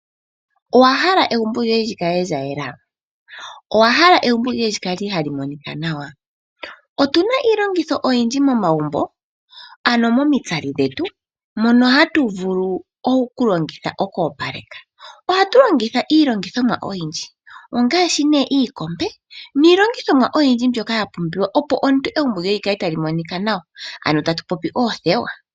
Owa hala egumbo lyoye lyi kale lya yela? Owa hala egumbo lyoye lyi kale hali monika nawa? Otuna iilongitho oyindji momagumbo ano momitsali dhetu mono hatu vulu oku longitha oku opaleka, ohatu longitha iinima oyindji ongashi ne iikombe niilongithomwa oyindji mbyoka ya pumbiwa opo omuntu egumbo lyoye li kale tali monikwa nawa, ano tatu popi oothewa.